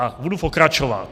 A budu pokračovat.